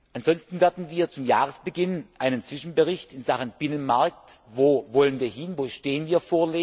Ansonsten werden wir zum Jahresbeginn einen Zwischenbericht in Sachen Binnenmarkt wo wollen wir hin, wo stehen wir?